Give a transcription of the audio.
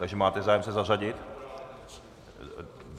Takže máte zájem se zařadit?